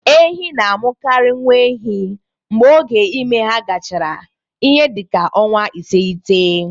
Ehi na-amụkarị nwa ehi mgbe oge ime ha gachara ihe dị ka ọnwa iteghete.